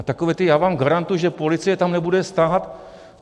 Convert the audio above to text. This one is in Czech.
A takové to: já vám garantuji, že policie tam nebude stát.